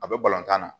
A bɛ balontan na